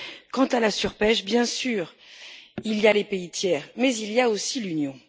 Quant à la surpêche, bien sûr, il y a les pays tiers, mais il y a aussi l'Union.